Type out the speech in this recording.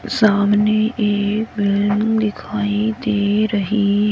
सामने एक वैन दिखाई दे रही --